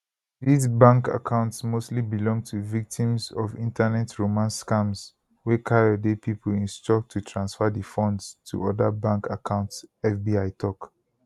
dis bank accounts mostly belong to victims of internet romance scams wey kayode pipo instruct to transfer di funds to oda bank accounts fbi tok